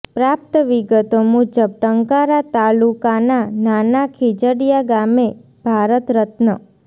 પ્રાપ્ત વિગતો મુજબ ટંકારા તાલુકાના નાના ખીજડિયા ગામે ભારત રત્ન